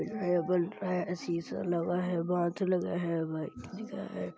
नया बन रहा है शीशा लगा है बाथ लगा है भाई --